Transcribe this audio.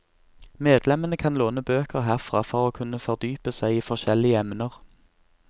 Medlemmene kan låne bøker herfra for å kunne fordype seg i forskjellige emner.